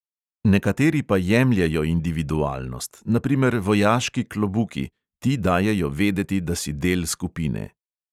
Nekateri pa jemljejo individualnost, na primer vojaški klobuki – ti dajejo vedeti, da si del skupine.